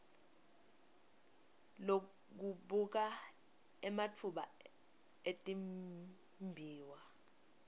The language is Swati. lekubuka ematfuba etimbiwa